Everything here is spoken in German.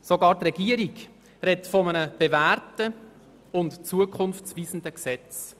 Sogar die Regierung spricht von einem bewährten und zukunftsweisenden Gesetz.